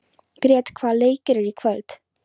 Grét, hvaða leikir eru í kvöld?